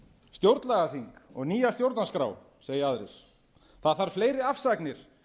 stjórnlagaþing og nýja stjórnarskrá segja aðrir það þarf fleiri afsagnir